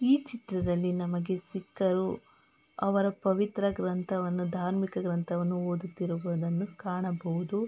ಈ ಚಿತ್ರದಲ್ಲಿ ಸಿಕ್ಕರು ಅವರ ಪವಿತ್ರ ಗ್ರಂಥವನ್ನು ಧಾರ್ಮಿಕ ಗ್ರಂಥವನ್ನು ಓದುತ್ತಿರುವುದನ್ನು ಕಾಣಬಹುದು.